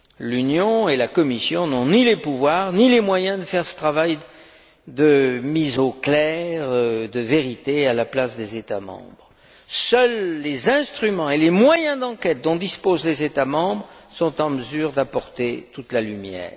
L'Union et la Commission n'ont ni les pouvoirs ni les moyens de faire ce travail de mise au clair, de vérité, à la place des États membres. Seuls les instruments et les moyens d'enquête dont disposent les États membres sont en mesure d'apporter toute la lumière.